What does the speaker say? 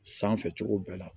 Sanfɛ cogo bɛɛ la